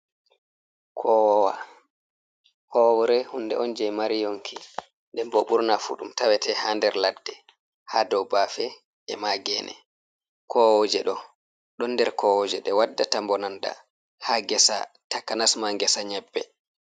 Kowowa howre on hunde on jei mari yonki den bo ɓurna fu ɗum tawete ha nder laɗɗe ha dou bafe e ma gene, kooje ɗo don nder kowoje ɗe waddata mbononda ha gesa takanas ma gesa nyebbe.